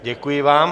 Děkuji vám.